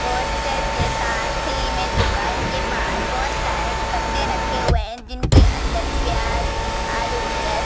poster के पास ही में दुकान के बाहर बोहोत सारे कट्टे रखे हुए हैं जिनके अंदर प्याज आलू ले